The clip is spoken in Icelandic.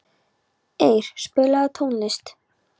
Eir, spilaðu tónlist.